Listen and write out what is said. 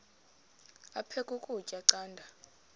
aphek ukutya canda